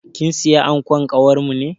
Kin siya ankon kawarmu ne?